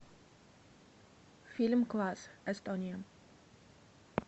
фильм класс эстония